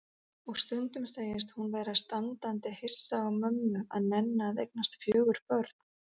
Og stundum segist hún vera standandi hissa á mömmu að nenna að eignast fjögur börn.